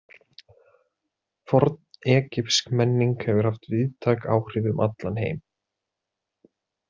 Fornegypsk menning hefur haft víðtæk áhrif um allan heim.